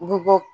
U bɛ bɔ